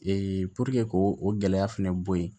k'o gɛlɛya fana bɔ yen